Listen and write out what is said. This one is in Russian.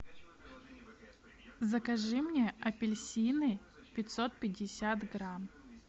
закажи мне апельсины пятьсот пятьдесят грамм